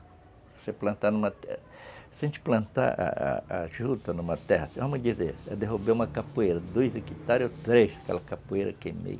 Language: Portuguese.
Se você plantar numa terra... Se a gente plantar a a juta numa terra, vamos dizer, é derrubar uma capoeira, dois hectares ou três, aquela capoeira queimei.